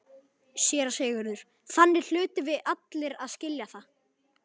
SÉRA SIGURÐUR: Þannig hlutum við allir að skilja það.